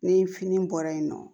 Ni fini bɔra yen nɔ